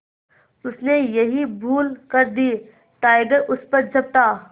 उसने यही भूल कर दी टाइगर उस पर झपटा